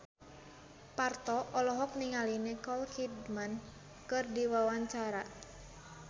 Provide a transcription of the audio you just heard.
Parto olohok ningali Nicole Kidman keur diwawancara